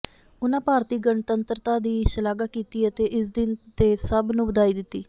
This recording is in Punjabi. ਉਨ੍ਹਾਂ ਭਾਰਤੀ ਗਣਤੰਤਰਤਾ ਦੀ ਸ਼ਲਾਘਾ ਕੀਤੀ ਅਤੇ ਇਸ ਦਿਨ ਤੇ ਸਭ ਨੂੰ ਵਧਾਈ ਦਿੱਤੀ